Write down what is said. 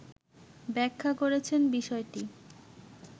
ব্যাখা করেছেন বিষয়টি